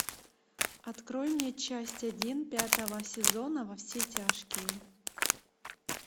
открой мне часть один пятого сезона во все тяжкие